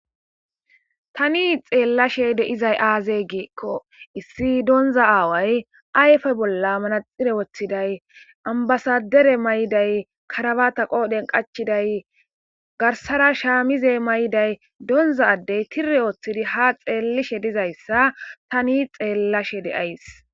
Tani xelashe deyizayi aze gikko issi donizha awayi ayife bolla manaxire wothidayi ambassader mayidayi karabatta qodheni qachidayi garisara shamize mayiddayi donidza adeyi tire wothidi ha xelidayissa tani xelashe deyayisi